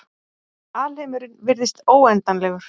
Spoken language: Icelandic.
Alheimurinn virðist óendanlegur.